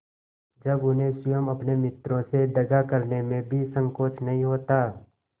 जब उन्हें स्वयं अपने मित्रों से दगा करने में भी संकोच नहीं होता